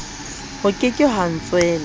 ho ke ke ha ntswela